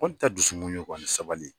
tɛ dusumu ye ani sabali.